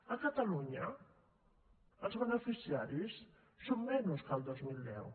a catalunya els beneficiaris són menys que el dos mil deu